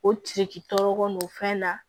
O ci tɔɔrɔ kɔnɔ o fɛn na